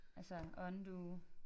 Altså undue